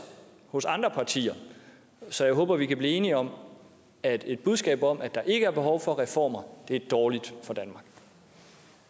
hos andre partier så jeg håber at vi kan blive enige om at et budskab om at der ikke er behov for reformer er dårligt